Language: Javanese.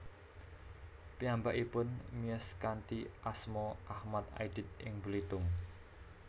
Piyambakipun miyos kanthi asma Achmad Aidit ing Belitung